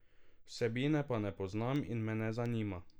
Vsebine pa ne poznam in me ne zanima.